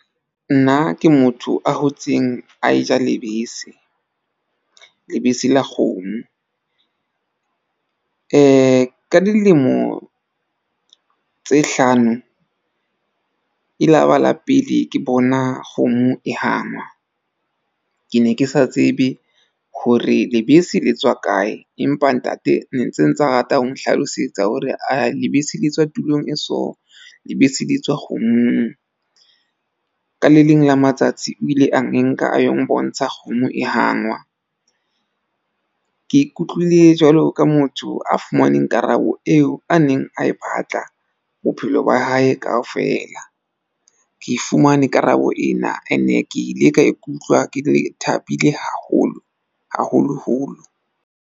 Nna ke motho a hotseng a e ja lebese, lebese la kgomo ka dilemo tse hlano e laba la pele ke bona kgomo e hangwa. Ke ne ke sa tsebe hore lebese le tswa kae, empa ntate ne ntse ntsa rata ho nhlalosetsa hore ae lebese le tswa tulong e so. Lebese le tswa kgomong. Ka le leng la matsatsi o ile a enka ayo mbontsha kgomo e hangwa. Ke ikutlwile jwalo ka motho a fumaneng karabo eo a neng a e batla bophelo ba hae kaofela. Ke fumane karabo ena ene ke ile ka ikutlwa ke thabile haholo haholoholo.